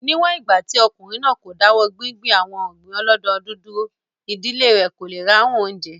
Ní wọ̀n ìgbà tí ọkùnrin náà kò dáwọ́ gbíngbin àwon ọ̀gbìn ọlọ́dọdún dúró, ìdílé rẹ̀ kò le ráhùn oúnjẹ